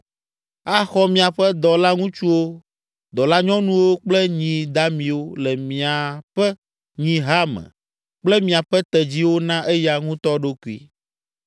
Axɔ miaƒe dɔlaŋutsuwo, dɔlanyɔnuwo kple nyi damiwo le miaƒe nyiha me kple miaƒe tedziwo na eya ŋutɔ ɖokui.